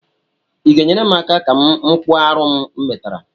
I ga-enyere m aka ka m kpụọ arụ a m metara?